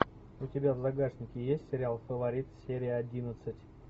у тебя в загашнике есть сериал фаворит серия одиннадцать